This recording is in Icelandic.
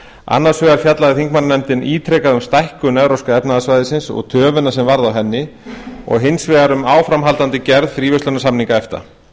annars vegar fjallaði þingmannanefndin ítrekað um stækkun evrópska efnahagssvæðisins og töfina sem varð á henni og hins vegar um áframhaldandi gerð fríverslunarsamninga efta